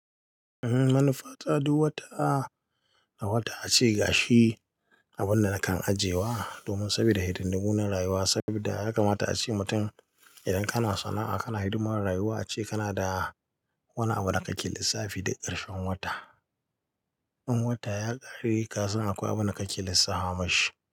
Eh manufa ta duk wata, a wata ace gashi abunda nakan ajiye wa domin sabida hidimmu na rayuwa sabida ya kamata ace mutum idan kana sana'a kana hidimar rayuwa ace kana da wani abu da kake lissafi duk ƙarshen wata. In wata ya ƙare kasan akwai abunda kake lissafa mashi.